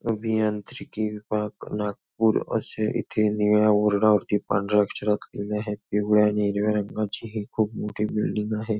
अभियांत्रिकी विभाग नागपूर असे इथे निळ्या बोर्डा वरती पांढऱ्या अक्षरात लिहिले आहेत पिवळ्या आणि हिरव्या रंगाची ही खूप मोठी बिल्डिंग आहे.